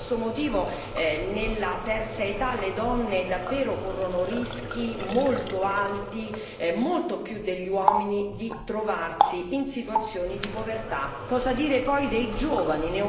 Per questo motivo nella terza età le donne corrono davvero rischi molto alti, molto più degli uomini, di trovarsi in situazioni di povertà. Cosa dire poi dei giovani?